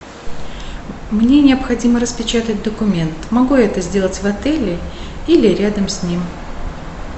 мне необходимо распечатать документ могу я это сделать в отеле или рядом с ним